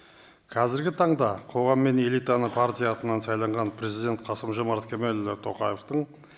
қазіргі таңда қоғам мен элитаны партия атынан сайланған президент қасым жомарт кемелұлы тоқаевтың